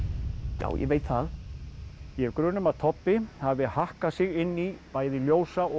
já ég veit það ég hef grun um að hafi hakkað sig inn í bæði ljósa og